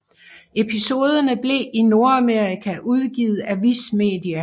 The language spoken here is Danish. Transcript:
Episoderne blev i Nordamerika udgivet af Viz Media